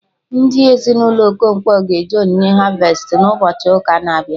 Ndị Ezinụlọ Okonkwo ga eje onyinye harvestị na ụbọchị ụka na-abịa